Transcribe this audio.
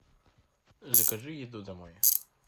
закажи еду домой